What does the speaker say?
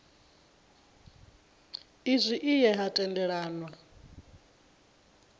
izwi i ye ha tendelanwa